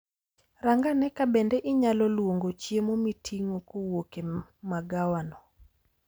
Rangane kabende inyalo luongo chiemo miting'o kowuok e magawano